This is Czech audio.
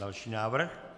Další návrh.